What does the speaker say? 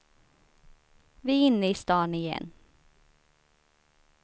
Vi är inne i stan igen.